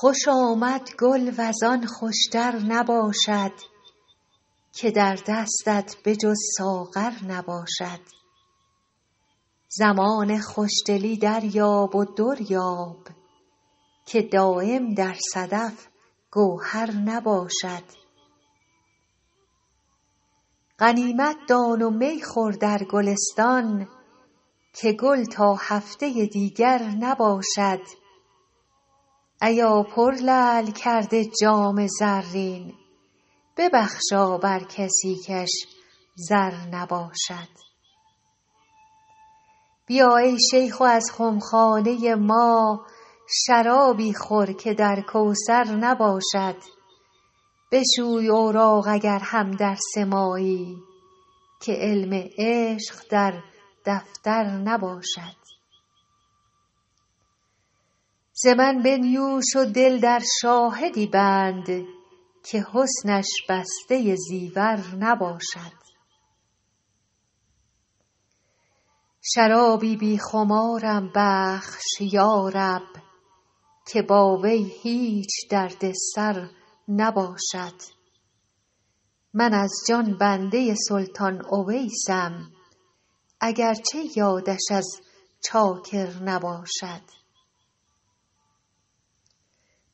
خوش آمد گل وز آن خوش تر نباشد که در دستت به جز ساغر نباشد زمان خوش دلی دریاب و در یاب که دایم در صدف گوهر نباشد غنیمت دان و می خور در گلستان که گل تا هفته دیگر نباشد ایا پرلعل کرده جام زرین ببخشا بر کسی کش زر نباشد بیا ای شیخ و از خم خانه ما شرابی خور که در کوثر نباشد بشوی اوراق اگر هم درس مایی که علم عشق در دفتر نباشد ز من بنیوش و دل در شاهدی بند که حسنش بسته زیور نباشد شرابی بی خمارم بخش یا رب که با وی هیچ درد سر نباشد من از جان بنده سلطان اویسم اگر چه یادش از چاکر نباشد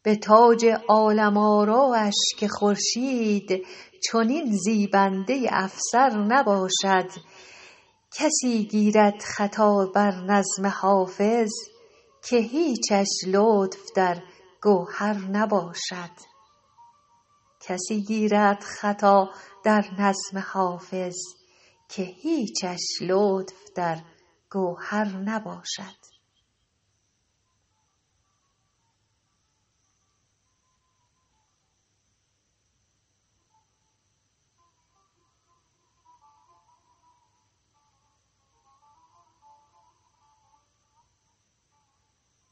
به تاج عالم آرایش که خورشید چنین زیبنده افسر نباشد کسی گیرد خطا بر نظم حافظ که هیچش لطف در گوهر نباشد